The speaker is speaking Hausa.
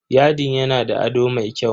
Yadin yana da ado mai kyau.